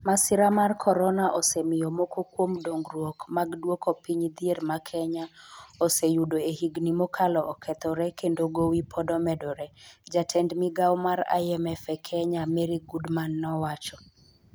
Masira mar Korona osemiyo moko kuom dongruok mag duoko piny dhier ma Kenya oseyudo e higini mokalo okethore kendo gowi pod omedore, " jatend migawo mar IMF e Kenya, Mary Goodman nowacho.